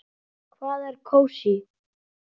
Hvað er kósí?